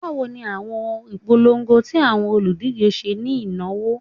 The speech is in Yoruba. Bawo ni awọn ipolongo ti awọn oludije ṣe ni inawo?